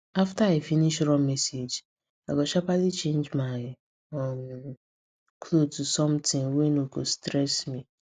after i finish run message i go sharperly change my um cloth to something wey no go stress me